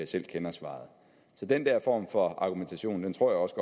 selv kender svaret og den der form for argumentation tror jeg også